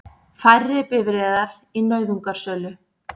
Færri bifreiðar í nauðungarsölu